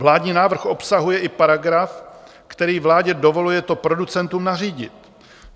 Vládní návrh obsahuje i paragraf, který vládě dovoluje to producentům nařídit.